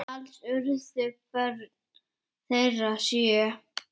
Alls urðu börn þeirra sjö.